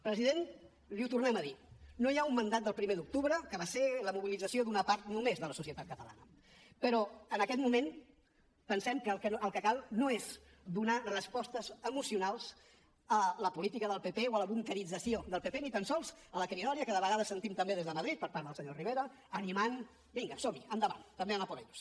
president li ho tornem a dir no hi ha un mandat del primer d’octubre que va ser la mobilització d’una part només de la societat catalana però en aquest moment pensem que el que cal no és donar respostes emocionals a la política del pp o a la bunquerització del pp ni tan sols a la cridòria que de vegades sentim també des de madrid per part del senyor rivera animant vinga som hi endavant també a por ellos